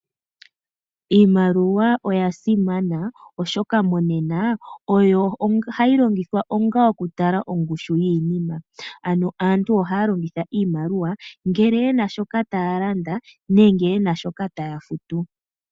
Iimaliwa oya simana oshoka monena oyo hayi longithwa onga okutala ongushu yiinima ano aantu ohaya longitha iimaliwa ngele yena shoka taya landa nenge yena shoka taya futu.